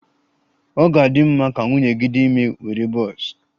Ọ ga-adị mma ka nwunye gị dị ime were bọs?